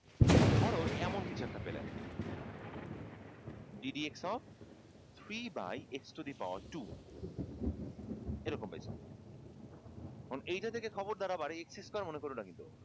ধর এমন কিছু একটা পেলে d dx of three by x to the power two এরকম পেয়েছ এখন এটা দেখে খবরদার আবার x square মনে করো না কিন্তু